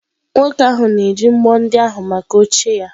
Nwoke ahụ na-eji mbọ ndị ahụ maka oche ya